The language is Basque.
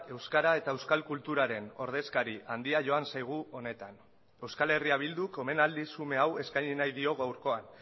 euskara eta euskal kulturaren ordezkari handia joan zaigu honetan euskal herria bilduk omenaldi xume hau eskaini nahi dio gaurkoan